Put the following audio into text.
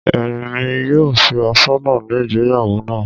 Èmi yóò ṣe asọ́nà ní ìgbéyàwó náà